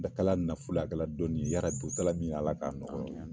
Dɔ kɛla nafoloye a kɛla dɔnni ye yarabi a kɛ la min ye ala ka nɔgɔya.